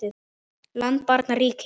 land barn ríki